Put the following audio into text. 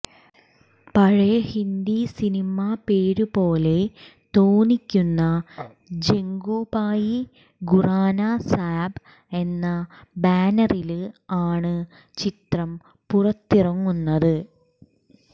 പഴയ ഹിന്ദി സിനിമ പേരു പോലെ തോന്നിക്കുന്ന ജഗ്ഗുഭായി ഖുറാന സാബ് എന്ന ബാനറില് ആണ് ചിത്രം പുറത്തിറങ്ങുന്നത്